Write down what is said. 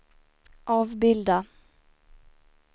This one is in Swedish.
avbilda